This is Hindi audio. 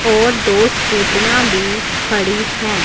और दो स्कूटियां भी खड़ी हैं।